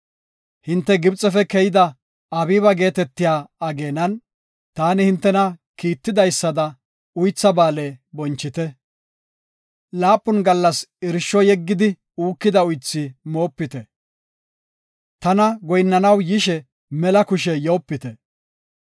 Hinte Gibxefe keyida Abiiba geetetiya ageenan, taani hintena kiitidaysada Uytha Ba7aale bonchite. Laapun gallas irsho yeggidi uukida uythi moopite. Tana goyinnanaw yishe mela kushe yoopite.